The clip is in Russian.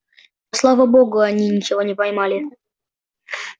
да слава богу они ничего не поймали